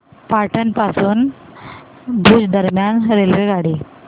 पाटण पासून भुज दरम्यान रेल्वेगाडी